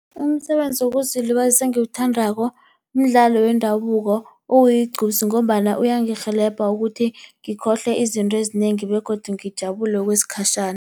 Umsebenzi wokuzilibazisa engiwuthandako mdlalo wendabuko okuyigqupsi ngombana uyangirhelebha ukuthi ngikhohlwe izinto ezinengi begodu ngijabule kwesikhatjhana.